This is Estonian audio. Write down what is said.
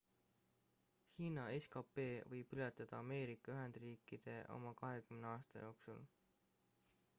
hiina skp võib ületada ameerika ühendriikide oma kahekümne aasta jooksul